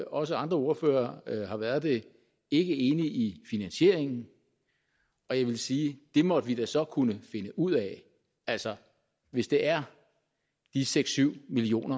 også andre ordførere har været det ikke enige i finansieringen og jeg vil sige at det måtte vi da så kunne finde ud af altså hvis det er de seks syv million